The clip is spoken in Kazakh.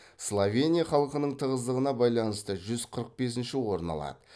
словения халқының тығыздығына байланысты жүз қырық бесінші орын алады